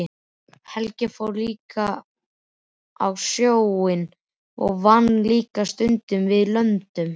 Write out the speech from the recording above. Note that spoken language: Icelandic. Helgi fór á sjóinn og vann líka stundum við löndun.